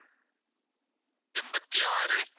எண்பத்தி ஆறு